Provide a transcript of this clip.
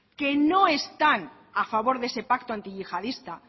que no están a favor de ese pacto antiyihadista